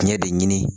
Ɲɛ de ɲini